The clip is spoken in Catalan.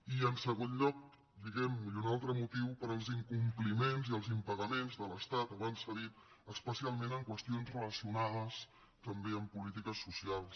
i en segon lloc diguem ne i un altre motiu pels incompliments i els impagaments de l’estat abans s’ha dit especialment en qüestions relacionades també amb polítiques socials